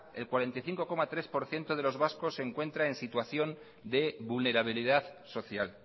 el cuarenta y cinco coma tres por ciento de los vascos se encuentra en situación de vulnerabilidad social